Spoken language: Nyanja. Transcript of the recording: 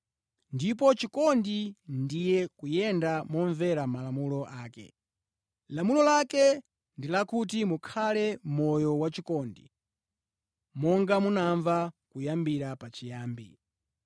Ndipo chikondi ndiye kuyenda momvera malamulo ake. Lamulo lake ndi lakuti mukhale moyo wachikondi monga munamva kuyambira pachiyambi.